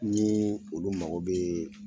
Niin olu mago bɛɛɛɛ.